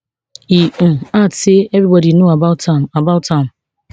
e um add say evribody know about am about am